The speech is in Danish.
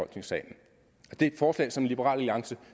det er et forslag som liberal alliance